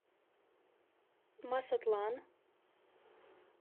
масатлан